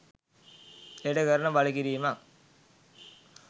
එයට කරන බලකිරීමක්